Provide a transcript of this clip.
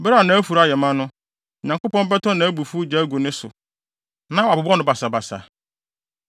Bere a nʼafuru ayɛ ma no, Onyankopɔn bɛtɔ nʼabufuw gya agu ne so na wabobɔ no basabasa.